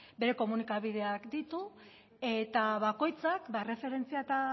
bere komunikabideak ditu eta bakoitzak erreferentzia eta